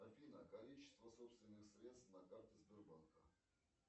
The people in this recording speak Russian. афина количество собственных средств на карте сбербанка